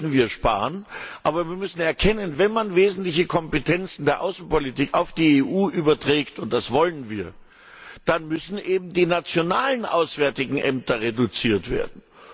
Natürlich müssen wir sparen, aber wir müssen erkennen Wenn man wesentliche Kompetenzen der Außenpolitik auf die EU überträgt und das wollen wir dann müssen eben die nationalen auswärtigen Ämter reduziert werden.